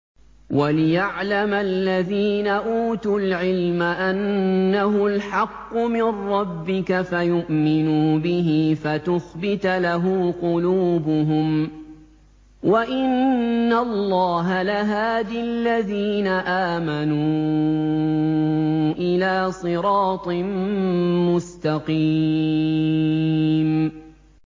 وَلِيَعْلَمَ الَّذِينَ أُوتُوا الْعِلْمَ أَنَّهُ الْحَقُّ مِن رَّبِّكَ فَيُؤْمِنُوا بِهِ فَتُخْبِتَ لَهُ قُلُوبُهُمْ ۗ وَإِنَّ اللَّهَ لَهَادِ الَّذِينَ آمَنُوا إِلَىٰ صِرَاطٍ مُّسْتَقِيمٍ